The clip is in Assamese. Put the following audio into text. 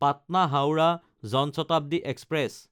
পাটনা–হাওৰা জন শতাব্দী এক্সপ্ৰেছ